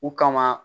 U kama